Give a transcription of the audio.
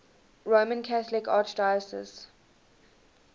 roman catholic archdiocese